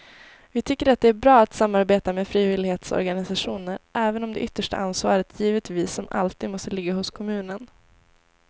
Vi tycker att det är bra att samarbeta med frivillighetsorganisationer även om det yttersta ansvaret givetvis som alltid måste ligga hos kommunen.